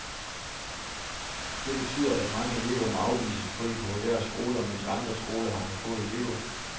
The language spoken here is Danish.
Det betyder, at mange elever må afvises på de populære skoler, mens andre skoler har for få elever.